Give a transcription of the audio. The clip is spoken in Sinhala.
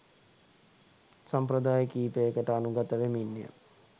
සම්ප්‍රදාය කීපයකට අනුගත වෙමින් ය.